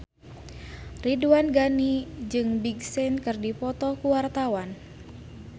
Ridwan Ghani jeung Big Sean keur dipoto ku wartawan